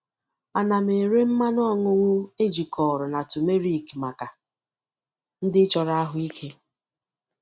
Ana m ere mmanụ ọṅụṅụ ejikọrọ na turmeric maka ndị chọrọ ahụike.